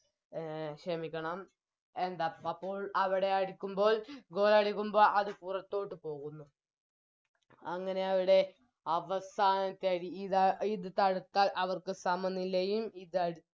A ക്ഷമിക്കണം എന്താ അപ്പൊൾ അവിടെ അടിക്കുമ്പോൾ Goal അടിക്കുമ്പോൾ അത് പുറത്തോട്ട് പോകുന്നു അങ്ങനെ അവിടെ അവസാനത്തെയടി ഇതാ ഇത് തടുത്താൽ അവർക്ക് സമനിലയും ഇതടി